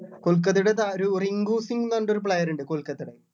കൊൽക്കത്തയുടെ താ ഒരു റിങ്കുസിങ്ങ് എന്ന് പറഞ്ഞിട്ടൊരു player ഇണ്ട് കൊൽക്കത്തടെ